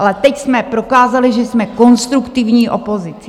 Ale teď jsme prokázali, že jsme konstruktivní opozicí.